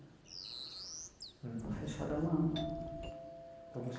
Uhum. fechado há um ano. Então